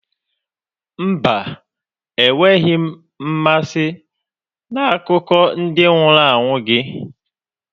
Mba, enweghị m mmasị na akụkọ ndị nwụrụ anwụ gị.